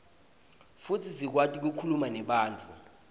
futsi sikwati kukhuluma nebantfu